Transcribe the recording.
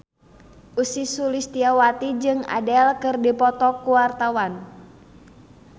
Ussy Sulistyawati jeung Adele keur dipoto ku wartawan